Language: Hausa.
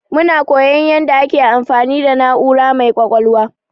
Muna koyon yanda ake amfani da na'ura mai ƙwaƙwalwa.